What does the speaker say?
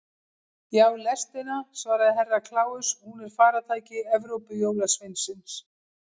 Já, lestina, svaraði Herra Kláus, hún er faratæki Evrópujólasveinsins.